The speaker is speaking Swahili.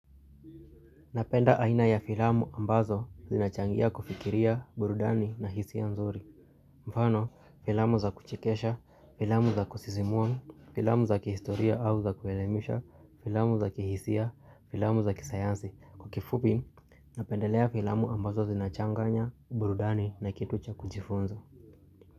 Napenda aina ya filamu ambazo zinachangia kufikiria, burudani na hisi ya nzuri. Mfano, filamu za kuchikesha, filamu za kusizimuwa, filamu za kihistoria au za kuelemisha, filamu za kihisia, filamu za kisayansi. Kukifupi, napendelea filamu ambazo zinachanganya, burudani na kitu cha kujifunza.